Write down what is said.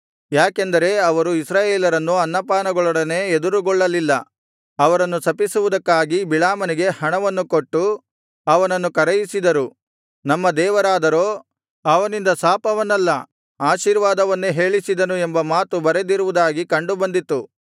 ಯಾಕೆಂದರೆ ಅವರು ಇಸ್ರಾಯೇಲರನ್ನು ಅನ್ನಪಾನಗಳೊಡನೆ ಎದುರುಗೊಳ್ಳಲಿಲ್ಲ ಅವರನ್ನು ಶಪಿಸುವುದಕ್ಕಾಗಿ ಬಿಳಾಮನಿಗೆ ಹಣವನ್ನು ಕೊಟ್ಟು ಅವನನ್ನು ಕರೆಯಿಸಿದರು ನಮ್ಮ ದೇವರಾದರೋ ಅವನಿಂದ ಶಾಪವನ್ನಲ್ಲ ಆಶೀರ್ವಾದವನ್ನೇ ಹೇಳಿಸಿದನು ಎಂಬ ಮಾತು ಬರೆದಿರುವುದಾಗಿ ಕಂಡು ಬಂದಿತು